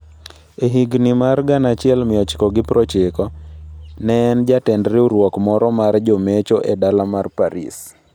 E higini mar 1990, ne en jatend riwruok moro mar jomecho e dala mar Paris.